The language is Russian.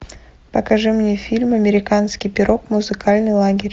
покажи мне фильм американский пирог музыкальный лагерь